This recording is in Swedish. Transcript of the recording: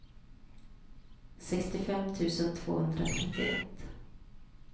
sextiofem tusen tvåhundratrettioett